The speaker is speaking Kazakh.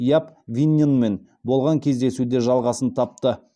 яп винненмен болған кездесуде де жалғасын тапты